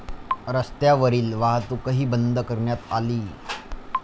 रस्त्यावरील वाहतूकही बंद करण्यात आली.